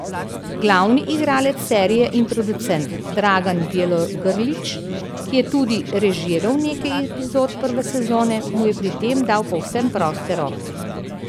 Glavni igralec serije in producent Dragan Bjelogrlić, ki je tudi režiral nekaj epizod prve sezone, mu je pri tem dal povsem proste roke.